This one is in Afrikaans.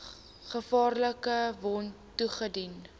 gevaarlike wond toegedien